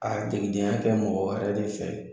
A degedenya kɛ mɔgɔ wɛrɛ de fɛ